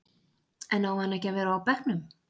En á hann að vera á bekknum?